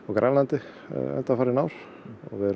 Grænlandi undanfarin ár og við erum